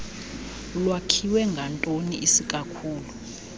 lwakhiwe ngantoni isikakhulu